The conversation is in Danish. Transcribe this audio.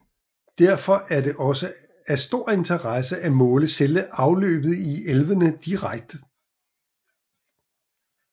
Derfor er det også af stor interesse at måle selve afløbet i elvene direkte